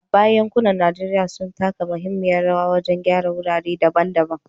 A baya, yankunan Najeriya sun taka muhimmiyar rawa wajen gyara wurare daban-daban